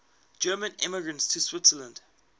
german immigrants to switzerland